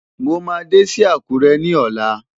Mo máa dé sí Àkúrẹ́ ní ọ̀la.